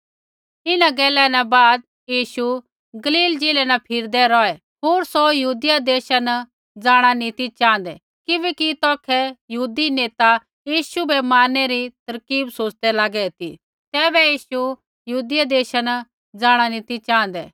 इन्हां गैला न बाद यीशु गलील ज़िलै न फिरदै रौहै होर सौ यहूदिया देशा न जाँणा नी ती च़ाँहदै किबैकि तौखै यहूदी नेता यीशु बै मारनै रा तरकीब सोच़दै लागे ती तैबै यीशु यहूदिया देशा न जाँणा नी ती च़ाँहदै